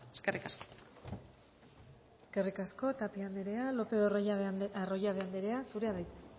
eskerrik asko eskerrik asko tapia andrea lópez de arroyabe andrea zurea da hitza